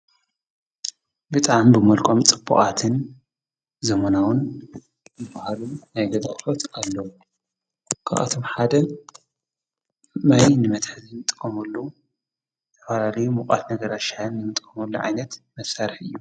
ብጣም ብመልቃምጽቡዓትን ዘመናዉን ብበሃሉም ናይገዛቕሎት ኣሎዉ ኽኣቶም ሓደ መይ ንመትሐ ዘይምጥቆሙሉ ኣፈላልዩ ምቛት ነገር ኣሻን ምጥምሉ ዓይነት መሣርሕ እዩ።